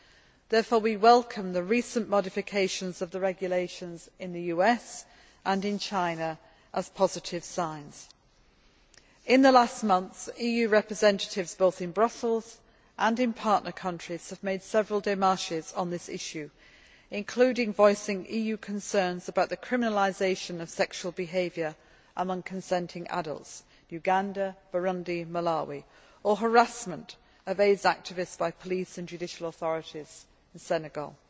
We therefore welcome the recent modifications of the regulations in the US and in China as positive signs. In the last months, EU representatives, both in Brussels and in partner countries, have made several démarches on this issue, including voicing EU concerns about the criminalisation of sexual behaviour among consenting adults Uganda, Burundi, Malawi or harassment of AIDS activists by police and judicial authorities in Senegal.